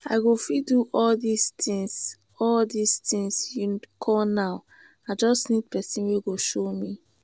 i go fit do all dis things all dis things you call now i just need person wey go show me